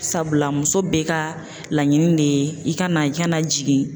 Sabula muso bɛ ka laɲini de ye i ka na na jigin